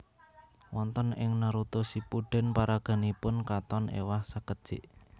Wonten ing Naruto Shippuden paraganipun katon ewah sakedjik